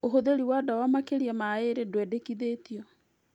ũhũthĩri wa ndawa makĩria ma mĩaka ĩrĩ ndwendekithĩtio